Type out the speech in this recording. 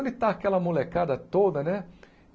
Onde está aquela molecada toda, né?